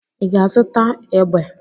Ị ga-aga zụta egbe?